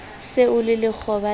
se o le lekgoba la